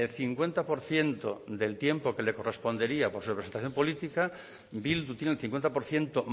cincuenta por ciento del tiempo que le correspondería por su representación política bildu tiene un cincuenta por ciento